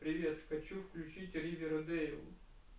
привет хочу включить аривередэйл